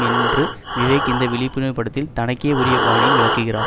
என்று விவேக் இந்த விழிப்புணர்வு படத்தில் தனக்கே உரிய பாணியில் விளக்குகிறார்